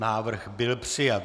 Návrh byl přijat.